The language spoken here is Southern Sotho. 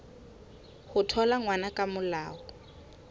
ho thola ngwana ka molao